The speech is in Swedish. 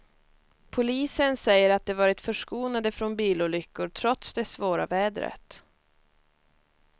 Polisen säger att de varit förskonade från bilolyckor trots det svåra vädret.